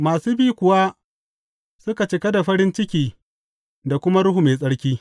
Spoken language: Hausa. Masu bi kuwa suka cika da farin ciki da kuma Ruhu Mai Tsarki.